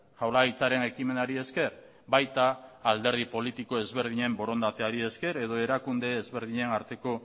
jaurlaritzaren ekimenari esker baita alderdi politiko ezberdinen borondateari esker edo erakunde ezberdinen arteko